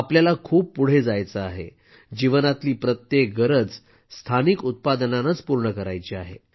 आपल्याला खूप पुढे जायचं आहे जीवनातली प्रत्येक गरज स्थानिक उत्पादनानच पूर्ण करायची आहे